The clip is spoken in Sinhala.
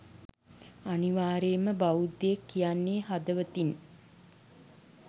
අනිවාර්යෙන්ම බෞද්ධයෙක් කියන්නෙ හදවතින්